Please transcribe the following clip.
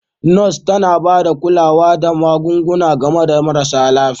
Nurse tana ba da kulawa da magunguna ga mara lafiya.